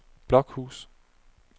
Blokhus